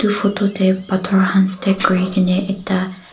photo teh pathor khan stage kuri ke ne ekta--